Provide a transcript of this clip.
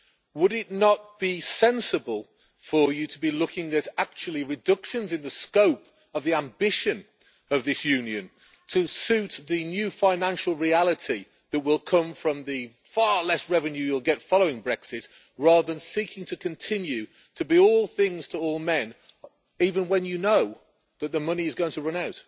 Would it not be sensible for you to be looking at actual reductions in the scope of the ambition of this Union, to suit the new financial reality that will come from the far less revenue you will get following Brexit, rather than seeking to continue to be all things to all men, even when you know that the money is going to run